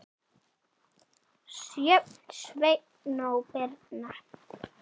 Sjöfn, Sveinn og Birna.